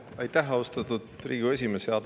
Aitäh, austatud Riigikogu esimees!